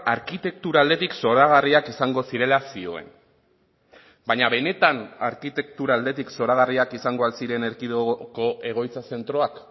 arkitektura aldetik zoragarriak izango zirela zioen baina benetan arkitektura aldetik zoragarriak izango al ziren erkidegoko egoitza zentroak